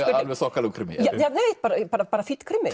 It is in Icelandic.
er alveg þokkalegur krimmi bara bara bara fínn krimmi